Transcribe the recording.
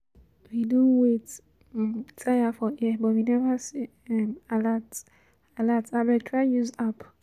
We don wait um tire for here but we never see um alert, alert, abeg try use app